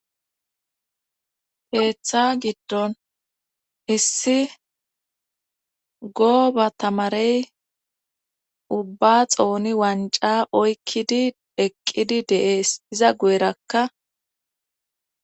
Teeththa giddon hessi gooba tamarey ubba xooni wanca oykkidi eqqidi de'ees iza gu'erakka.